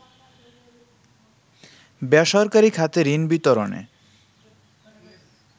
বেসরকারি খাতে ঋণ বিতরণে